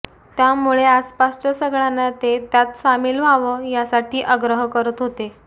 त्यामुळे आसपासच्या सगळ्यांना ते त्यात सामील व्हावं यासाठी आग्रह करत होते